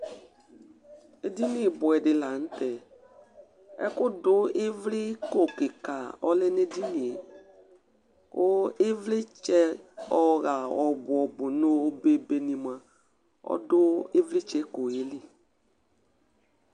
Edɩŋɩ ɓʊɛdɩ lanʊtɛ Ɛkʊdʊ ɩvlɩƙo ƙɩka ɔlɛ ŋʊ edɩŋɩe, ƙʊ ɩʋlɩtsɛ ɔya ɔbʊ ɔbʊ ŋʊ oɓe oɓe ni mʊa ̇dʊ ɩʋlɩtsɛko ƴɛ lɩ